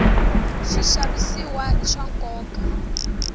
swixavisiwa i swa nkoka